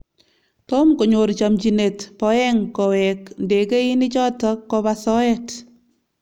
Tom konyor chamchinyet Boeng Koweek ndegeinik choto koba soet